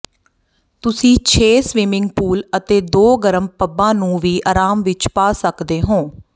ਤੁਸੀਂ ਛੇ swimming pool ਅਤੇ ਦੋ ਗਰਮ ਪੱਬਾਂ ਨੂੰ ਵੀ ਆਰਾਮ ਵਿੱਚ ਪਾ ਸਕਦੇ ਹੋ